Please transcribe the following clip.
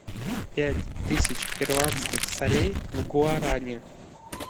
пять тысяч перуанских солей в гуарани